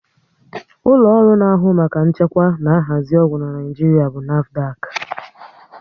Ụlọ ọrụ na ahụ maka nchekwa na nhazi ọgwụ n'Naijiria bụ NAFDAC